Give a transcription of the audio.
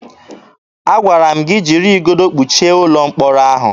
Agwara m gị jiri igodo kpọchie ụlọ mkpọrọ ahụ!